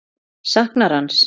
Saknarðu hans?